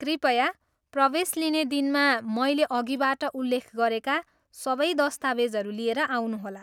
कृपया प्रवेश लिने दिनमा मैले अघिबाट उल्लेख गरेका सबै दस्तावेजहरू लिएर आउनुहोला।